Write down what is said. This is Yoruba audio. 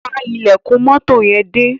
Pa ílèkùn moto yen dé.